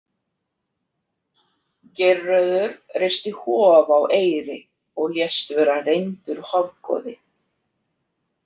Geirröður reisti hof á Eyri og lést vera reyndur hofgoði.